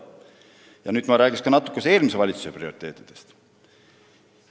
Ja nüüd ma räägin natuke ka eelmise valitsuse prioriteetidest.